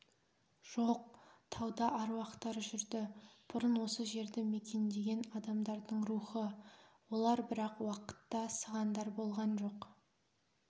жоқ тауда аруақтар жүрді бұрын осы жерді мекендеген адамдардың рухы олар бірақ уақытта сығандар болған жоқ